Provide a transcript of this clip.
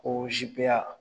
Ko Z- P- A